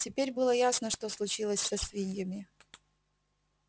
теперь было ясно что случилось со свиньями